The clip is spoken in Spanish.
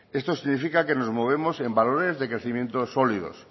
esto significa que nos movemos en valores de crecimiento sólidos